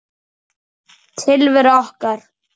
Tilvera okkar